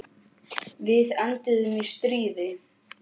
Við enduðum í stríði.